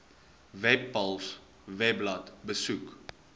webpals webblad besoek